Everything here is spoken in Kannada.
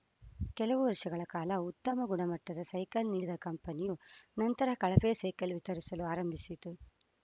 ಕೆಲವು ವರ್ಷಗಳ ಕಾಲ ಉತ್ತಮ ಗುಣಮಟ್ಟದ ಸೈಕಲ್‌ ನೀಡಿದ ಕಂಪನಿಯು ನಂತರ ಕಳಪೆ ಸೈಕಲ್‌ ವಿತರಿಸಲು ಪ್ರಾರಂಭಿಸಿತು